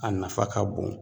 A nafa ka bon